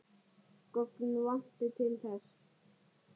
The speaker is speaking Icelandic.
Gögn vanti til þess.